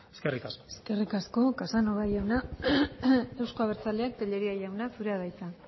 eskerrik asko eskerrik asko casanova jauna euzko abertzaleak tellería jauna zurea da hitza